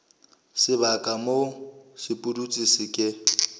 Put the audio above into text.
sebaka moo sepudutsi se ke